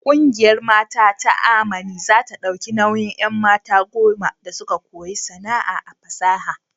Kungiyar Mata ta Amani za ta dauki nauyin 'an. mata goma su koyi sana'a a fasaha.